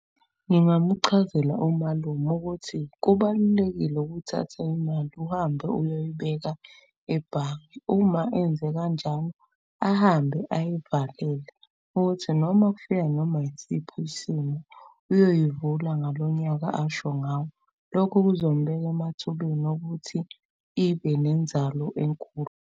Ngingamuchazela umalume ukuthi, kubalulekile ukuthatha imali uhambe uyoyibeka ebhange. Uma enze kanjalo ahambe ayivalele ukuthi noma kufika noma isiphi isimo uyoyivula ngalo nyaka asho ngawo. Lokho kuzomubeka emathubeni okuthi ibe nenzalo enkulu.